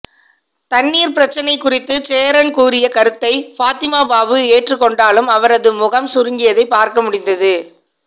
தண்ணீர் பிரச்சனை குறித்து சேரன் கூறிய கருத்தை பாத்திமா பாபு ஏற்றுக்கொண்டாலும் அவரது முகம் சுருங்கியதை பார்க்க முடிந்தது